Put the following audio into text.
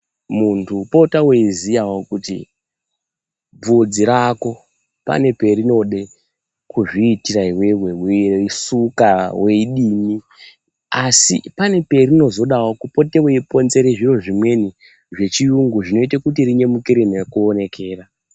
Muntu potawo weiziya kuti bvudzi rako pane perinode kutiitira iwewe weisuka, weidini asi pane perinozoda kupotewo weiponzere zviro zvimweni zvechiyungu zvinoita kuti rinyemukire nekuonekera.